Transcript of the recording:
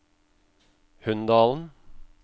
Hunndalen